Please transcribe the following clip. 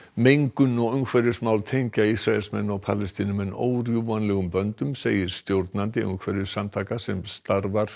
mengun og umhverfismál tengja Ísraelsmenn og Palestínumenn órjúfanlegum böndum segir stjórnandi umhverfissamtaka sem starfa